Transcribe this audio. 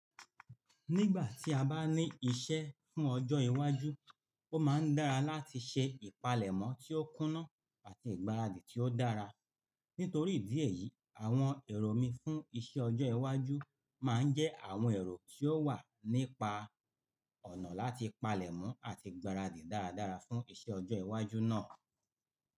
Nígbà tí a bá ní ìṣe fún ọjọ́ iwájú, ó máa ń dára láti ṣe ìpalẹ̀mọ́ tí ó kúnná àti ìgbáradì tí ó dára. Nítorí ìdí èyí, àwọn èrò mi fún iṣẹ́ ọjọ́ iwájú máa ń jẹ́ àwọn èrò tí ó wà nípa ọ̀nà láti palẹ̀mọ́ àti ìgbáradì dáradára fún iṣẹ́ ọjọ́ iwájú náà.